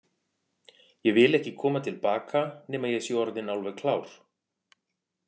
Ég vil ekki koma til baka nema ég sé orðinn alveg klár.